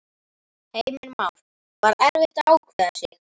Heimir Már: Var erfitt að ákveða sig?